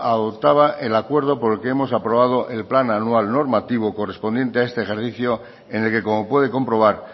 adoptaba el acuerdo por el que hemos aprobado el plan anual normativo correspondiente a este ejercicio en el que como puede comprobar